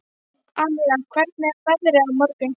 Amíra, hvernig er veðrið á morgun?